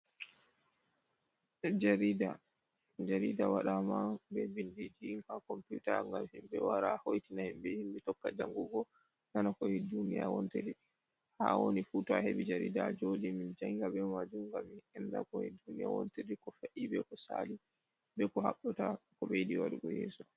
Jariɗa waɗaman be binɗiji ha komputa, ngam himbe wara hoitina himbe. Himbe tokka jangugo nana ko he ɗuniya wonteri. Ha awoni fu ta ahebi jariɗa ajoɗi min janga be maju ngam mi anɗa ko he ɗuniya wonteri. ko fa’i, be ko sali be ko habbata ko be yiɗi waɗugo yeso.